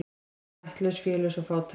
Hún ættlaus, félaus og fátæk.